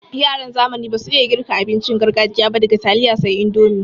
Yaran zamani basu iya girka abincin gargajiya ba daga taliya sai indomi.